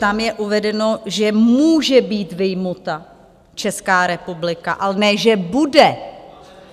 Tam je uvedeno, že může být vyjmuta Česká republika, a ne že bude.